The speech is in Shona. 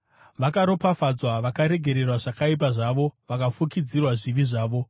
“Vakaropafadzwa avo vakaregererwa zvakaipa zvavo, vakafukidzirwa zvivi zvavo.